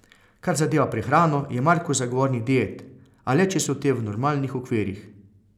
Kar zadeva prehrano, je Marko zagovornik diet, a le če so te v normalnih okvirih.